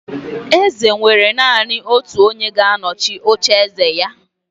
Eze nwere naanị otu onye ga-anọchi ocheeze ya